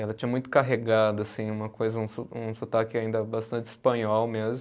Ela tinha muito carregado assim, uma coisa um so, um sotaque ainda bastante espanhol mesmo.